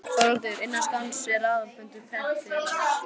ÞORVALDUR: Innan skamms er aðalfundur Prentfélags